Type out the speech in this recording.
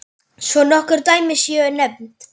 Svo nokkur dæmi séu nefnd.